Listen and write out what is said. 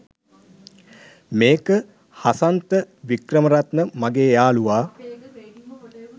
මේක “හසන්ත වික්‍රමරත්න” මගේ යාලුවා